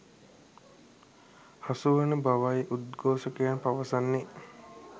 හසු වන බවයි උද්ඝෝෂකයන් පවසන්නේ.